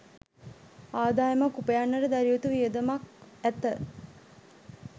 ආදායමක් උපයන්නට දැරිය යුතු වියදමක් ඇත.